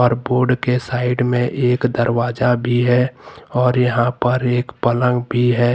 Board से side में एक दावा भी है और यहां पर एक पलंग भी है।